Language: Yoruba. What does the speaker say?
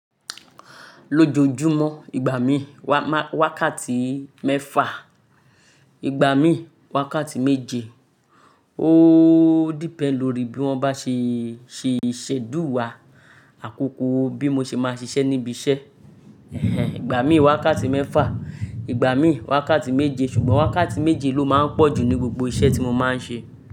Lójojúmọ́, ìgbà mí wákàtí mẹ́fà, ìgbà mí wákàtí méje. Ó depend lórí bí wọ́n bá ṣe, ṣe schedule wà. Àkókò bí mo ṣe máa ṣiṣẹ́ níbi iṣẹ́. Ẹ̀hẹn, ìgbà mí wákàtí mẹ́fà, ìgbà mí wákàtí méje. Ṣùgbọ́n wákàtí méje ló máa ń pọ̀ jù ní gbogbo iṣẹ́ tí mo máa ń ṣe.